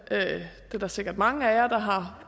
er der sikkert mange af jer